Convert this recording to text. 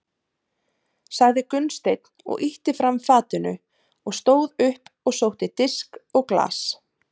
sagði Gunnsteinn og ýtti fram fatinu og stóð upp og sótti disk og glas.